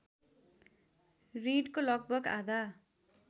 ॠणको लगभग आधा